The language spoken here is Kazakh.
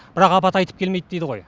бірақ апат айтып келмейді дейді ғой